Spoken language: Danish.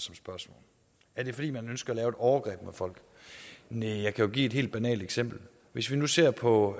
er det fordi man ønsker at lave et overgreb mod folk næh jeg kan jo give et helt banalt eksempel hvis vi nu ser på